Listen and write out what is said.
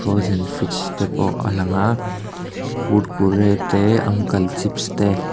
frozen fridge te pawh a lang a kurkure te uncle chips te--